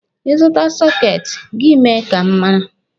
Ị zụta sọketi, gị mee ka m mara.